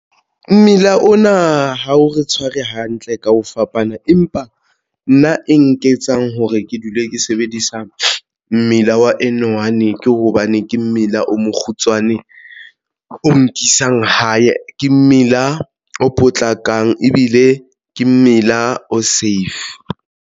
Mmila ona ha o re tshware hantle ka ho fapana empa nna e nketsang hore ke dule ke sebedisa mmila wa N1 ke o hobane ke mmila o mokgutshwane o nkisang hae ke mmila, o potlakang ebile ke mmila o safe.